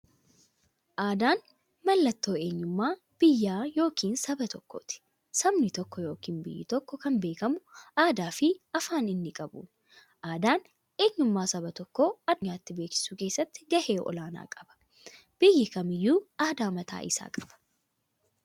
Aadaan mallattoo eenyummaa biyya yookiin saba tokkooti. Sabni tokko yookiin biyyi tokko kan beekamu aadaafi afaan inni qabuun. Aadaan eenyummaa saba tokkoo addunyyaatti beeksisuu keessatti gahee olaanaa qaba. Biyyi kamiyyuu aadaa mataa isaa qaba.